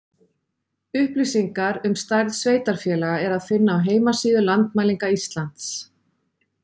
Upplýsingar um stærð sveitarfélaga er að finna á heimasíðu Landmælinga Íslands.